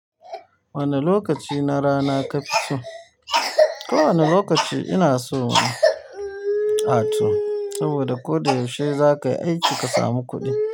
Wane lokaci na rana kafi so? Ko wane lokaci ina so in ato saboda ko da yaushe zaka yi aiki ka samu kuɗi.